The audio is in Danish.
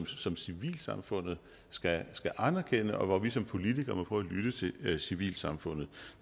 som civilsamfundet skal anerkende og hvor vi som politikere må prøve at lytte til civilsamfundet